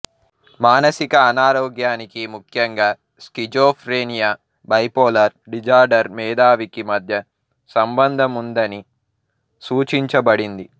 మానసిక అనారోగ్యానికి ముఖ్యంగా స్కిజోఫ్రెనియా బైపోలార్ డిజార్డర్ మేధావికి మధ్య సంబంధం ఉందని సూచించబడింది